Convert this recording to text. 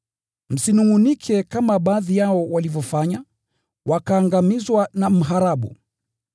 Msinungʼunike kama baadhi yao walivyofanya, wakaangamizwa na mharabu.